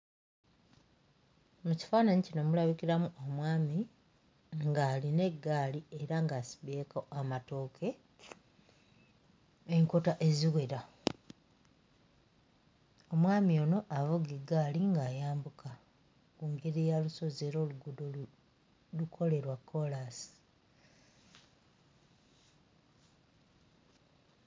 Mu kifaananyi kino mulabikiramu omwami ng'alina eggaali era ng'asibyeko amatooke enkota eziwera. Omwami ono avuga eggaali ng'ayambuka engeri ya lusozi era oluguudo lukole lwa kkoolaasi.